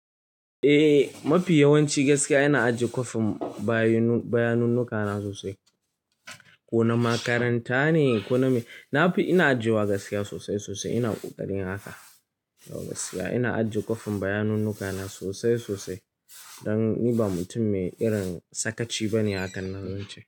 Eh mafi yawanci gaskiya ina ajiye kwafin bayanun nuka na sosai. Ko na makaranta ne ko na me. Na fi ina ajiyewa gaskiya sosai sosai ina ƙoƙarin haka. Gaskiya ina ajiye kwafin bayanun nuka na sosai sosai. Dan ni ba mutum mai irin sakaci bane hakan nan zan ce.